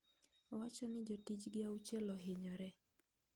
Owacho ni jotijgi auchiel ohinyore.